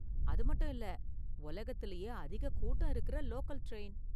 அது மட்டும் இல்ல உலகத்துலயே அதிக கூட்டம் இருக்குற லோக்கல் டிரைன்.